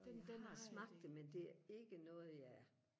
jeg har smagt det men det er ikke noget jeg